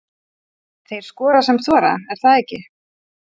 Þeir skora sem þora, er það ekki?